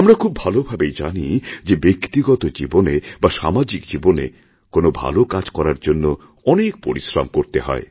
আমরা খুব ভালোভাবেই জানি যে ব্যক্তিগত জীবনে বা সামাজিক জীবনে কোনও ভালো কাজ করার জন্য অনেকপরিশ্রম করতে হয়